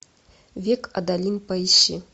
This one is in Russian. век адалин поищи